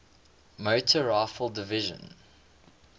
motor rifle division